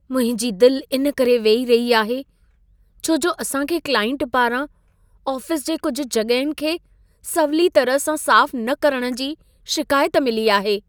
मुंहिंजी दिल इन करे वेही रही आहे, छो जो असां खे क्लाइंट पारां आफ़िस जे कुझु जॻहियुनि खे सवली तरह सां साफ़ न करण जी शिकायत मिली आहे।